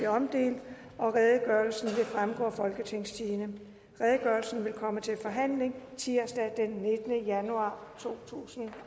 omdelt og redegørelsen vil fremgå af folketingstidendedk redegørelsen vil komme til forhandling tirsdag den nittende januar totusinde